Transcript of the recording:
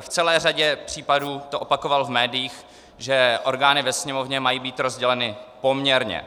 v celé řadě případů to opakoval v médiích, že orgány ve Sněmovně mají být rozděleny poměrně.